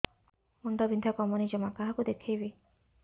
ମୁଣ୍ଡ ବିନ୍ଧା କମୁନି ଜମା କାହାକୁ ଦେଖେଇବି